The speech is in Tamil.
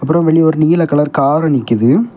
அப்புறம் வெளியே ஒரு நீல கலர் கார் நிக்குது.